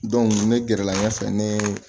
ne gɛrɛla ɲɛfɛ ne ye